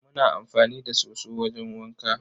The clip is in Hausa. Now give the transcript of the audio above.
Muna amfani da soso wajen wanka.